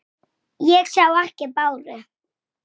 Sækja að mér.